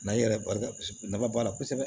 i yɛrɛ barika kosɛbɛ nafa b'a la kosɛbɛ